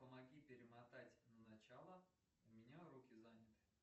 помоги перемотать на начало у меня руки заняты